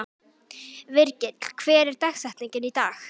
Virgill, hver er dagsetningin í dag?